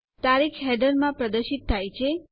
તારીખ હેડરમાં પ્રદર્શિત થાય છે